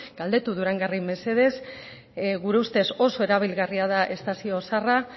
galdera durangarrei mesedez gure ustez oso erabilgarria da estazio zaharra